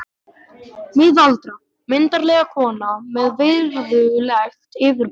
Miðaldra, myndarleg kona með virðulegt yfirbragð.